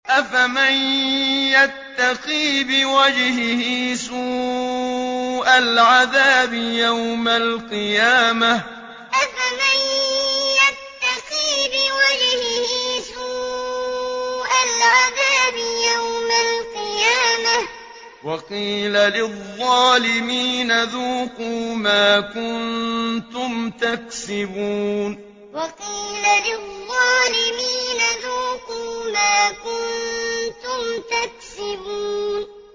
أَفَمَن يَتَّقِي بِوَجْهِهِ سُوءَ الْعَذَابِ يَوْمَ الْقِيَامَةِ ۚ وَقِيلَ لِلظَّالِمِينَ ذُوقُوا مَا كُنتُمْ تَكْسِبُونَ أَفَمَن يَتَّقِي بِوَجْهِهِ سُوءَ الْعَذَابِ يَوْمَ الْقِيَامَةِ ۚ وَقِيلَ لِلظَّالِمِينَ ذُوقُوا مَا كُنتُمْ تَكْسِبُونَ